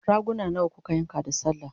raguna nawa kuka yanka da sallah?